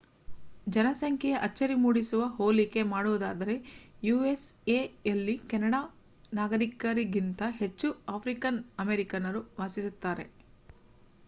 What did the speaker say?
ಜನಸಂಖ್ಯೆಯ ಅಚ್ಚರಿ ಮೂಡಿಸುವ ಹೋಲಿಕೆ ಮಾಡುವುದಾದರೆ ಯೂಎಸ್ಎಯಲ್ಲಿ ಕೆನಡಾ ನಾಗರೀಕರಿಗಿಂತ ಹೆಚ್ಚು ಆಫ್ರಿಕನ್ ಅಮೇರಿಕನ್ನರು ವಾಸಿಸುತ್ತಾರೆ